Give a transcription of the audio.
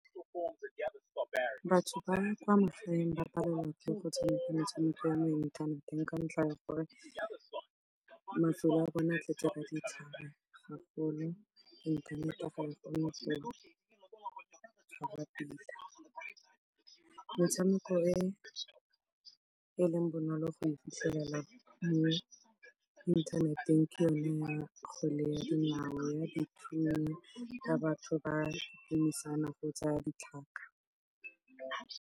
Batho ba kwa magaeng ba palelwa ke go tshameka metshameko ya mo inthaneteng ka ntlha ya gore mafelo a bona tletse ka ditlhare gagolo. Inthanete ga e kgone go tshwara pila. Motshameko e e leng bonolo go e fitlhelela mo inthaneteng ke yone ya kgwele ya dinao ya dithunya ya batho ba emisana kgotsa ya ditlhaka.